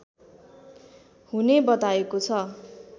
हुने बताएको छ